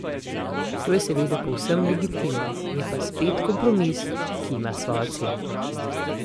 To je seveda povsem legitimno, je pa spet kompromis, ki ima svojo ceno.